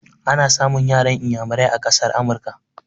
Ana samun yaran iyamurai a ƙasar Amurka.